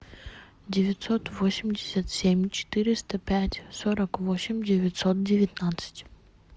девятьсот восемьдесят семь четыреста пять сорок восемь девятьсот девятнадцать